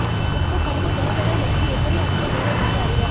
உப்பு படிக விளக்குகள் மற்றும் எப்படி அவர்கள் வேலை பற்றி அறிக